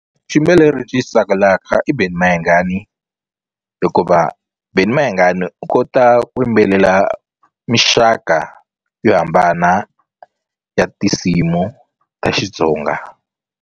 Xiyimbeleri lexi ni xi tsakelaka i Benny Mayengani hikuva Benny Mayengani u kota ku yimbelela mixaka yo hambana ya tinsimu ta Xitsonga.